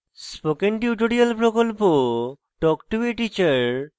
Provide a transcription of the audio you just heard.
spoken tutorial প্রকল্প talk to a teacher প্রকল্পের অংশবিশেষ